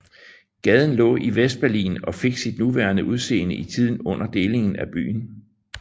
Gaden lå i Vestberlin og fik sit nuværende udseende i tiden under delingen af byen